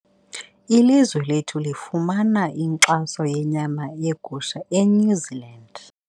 Ilizwe lethu lifumana inkxaso yenyama yegusha eNew Zealand.